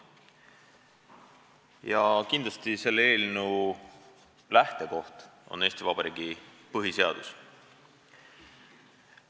Ja kindlasti selle eelnõu lähtekoht on Eesti Vabariigi põhiseadus.